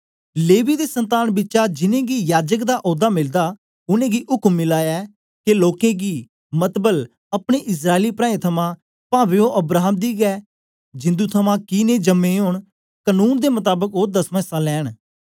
लेवी दी संतान बिचा जिनेंगी याजक दा औदा मिलदा उनेंगी उक्म मिला ऐ के लोकें गी मतलब अपने इस्राएली प्राऐं थमां पावें ओ अब्राहम दी गै जिंदु थमां कि नेई जम्मे ओंन कनून दे मताबक ओ दसमां इस्सा लैंन